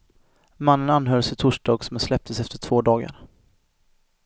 Mannen anhölls i torsdags men släpptes efter två dagar.